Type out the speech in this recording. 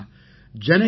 विद्या विनय उपेता हरति